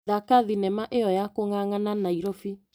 Thaka thinema ĩyo ya kũng'ang'ana Naĩrobĩ .